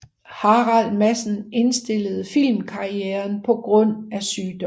Harald Madsen indstillede filmkarrieren grundet sygdom